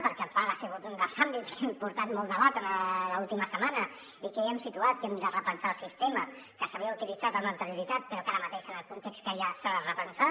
perquè a part ha sigut un dels àmbits que ha portat molt de debat en l’última setmana i que ja hem situat que hem de repensar el sistema que s’havia utilitzat amb anterioritat però que ara mateix en el context que hi ha s’ha de repensar